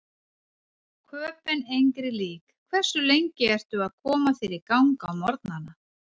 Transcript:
Köben engri lík Hversu lengi ertu að koma þér í gang á morgnanna?